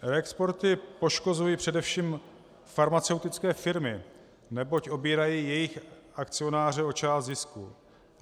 Reexporty poškozují především farmaceutické firmy, neboť obírají jejich akcionáře o část zisku.